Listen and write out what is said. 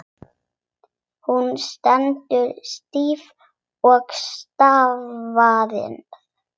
Hún stendur stíf og starir.